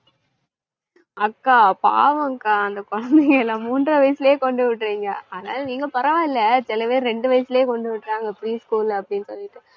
அக்கா பாவம் அக்கா அந்த குழந்தைகளாம் மூன்றரை வயசுலே கொண்டுவிடுறீங்க. ஆனாலும் நீங்க பரவாயில்லை, சில பேரு ரெண்டு வயசுலே கொண்டு விடுறாங்க pre school அப்படின்னு சொல்லிட்டு